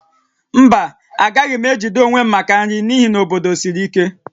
Mba, agaghị m ejide onwe m maka nri n'ihi na obodo siri ike